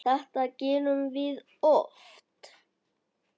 Þetta gerum við oft.